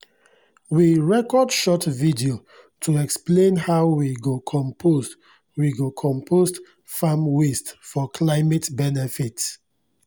we record short video to explain how we go compost we go compost farm waste for climate benefit